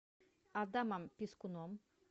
адамом пискуном